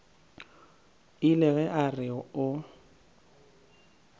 ile ge a re o